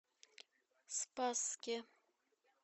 спасске